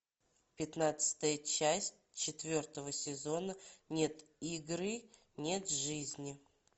пятнадцатая часть четвертого сезона нет игры нет жизни